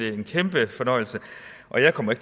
er en kæmpe fornøjelse og jeg kommer